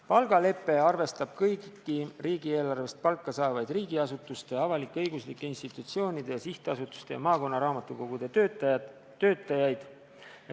Palgalepe arvestab kõiki riigieelarvest palka saavaid riigiasutuste, avalik-õiguslike institutsioonide, sihtasutuste ja maakonnaraamatukogude töötajaid.